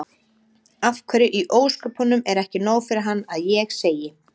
Af hverju í ósköpunum er ekki nóg fyrir hann að ég segi